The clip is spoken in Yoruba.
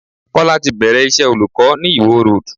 Kọ́lá ti bẹ̀rẹ̀ iṣẹ́ olùkọ́ ni Ìwó Road.